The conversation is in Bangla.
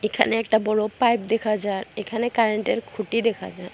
এখানে একটা বড়ো পাইপ দেখা যার এখানে কারেন্টের খুঁটি দেখা যার ।